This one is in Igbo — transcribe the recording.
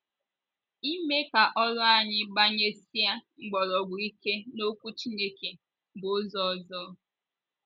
Ịme ka oru anyị gbanyesie mkpọrọgwụ ike n’Okwu Chineke bụ ụzọ ọzọ.